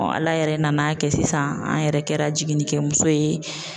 ala yɛrɛ nana kɛ sisan an yɛrɛ kɛra jiginnikɛmuso ye.